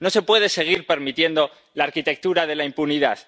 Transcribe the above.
No se puede seguir permitiendo la arquitectura de la impunidad.